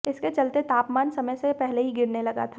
इसके चलते तापमान समय से पहले ही गिरने लगा था